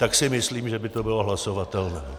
Tak si myslím, že by to bylo hlasovatelné.